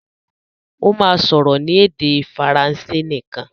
Ó máa sọ̀rọ̀ ní èdè Faransé nìkan.